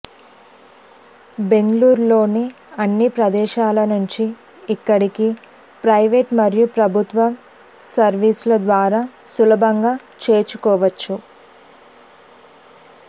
బెంగళూరు లోని అన్ని ప్రదేశాల నుంచి ఇక్కడికి ప్రైవేట్ మరియు ప్రభుత్వ సర్వీసుల ద్వారా సులభంగా చేరుకోవచ్చు